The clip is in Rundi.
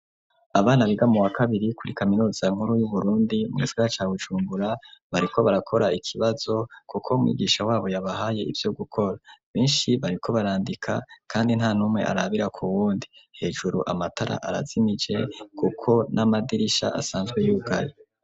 Abana biga mu wa kabiri kuri kaminuza nkuru y'uBurundi mu gisaka ca Bujumbura bariko barakora ikibazo kuko umwigisha wabo yabahaye ivyo gukora, benshi bariko barandika kandi nta numwe arabira ku wundi, hejuru amatara arazimije kuko n'amadirisha asanzwe yugaye.